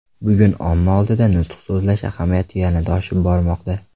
Bugun omma oldida nutq so‘zlash ahamiyati yanada oshib bormoqda.